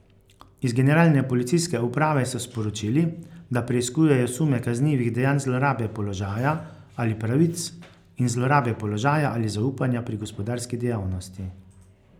Iz Generalne policijske uprave so sporočili, da preiskujejo sume kaznivih dejanj zlorabe položaja ali pravic in zlorabe položaja ali zaupanja pri gospodarski dejavnosti.